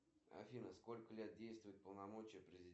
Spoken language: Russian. сбер хочу средний сладкий